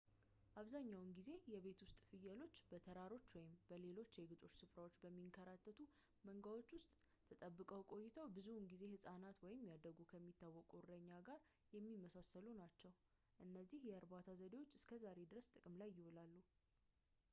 አብዛኛውን ጊዜ የቤት ውስጥ ፍየሎች በተራሮች ወይም በሌሎች የግጦሽ ስፍራዎች በሚንከራተቱ መንጋዎች ውስጥ ተጠብቀው ቆይተው ብዙውን ጊዜ ሕፃናት ወይም ያደጉ ከሚታወቁት እረኛ ጋር የሚመሳሰሉ ናቸው እነዚህ የእርባታ ዘዴዎች እስከዛሬ ድረስ ጥቅም ላይ ይውላሉ